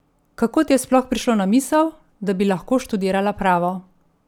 Kako ti je sploh prišlo na misel, da bi lahko študirala pravo?